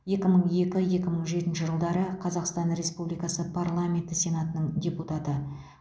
екі мың екі екі мың жетінші жылдары қазақстан республикасы парламенті сенатының депутаты